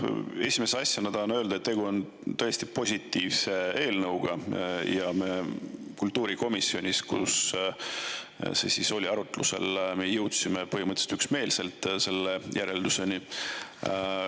Esimese asjana tahan öelda, et tegu on tõesti positiivse eelnõuga, ja me kultuurikomisjonis, kus see oli arutlusel, jõudsime põhimõtteliselt üksmeelselt selle järelduseni.